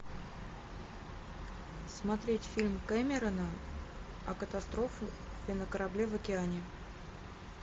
смотреть фильм кэмерона о катастрофе на корабле в океане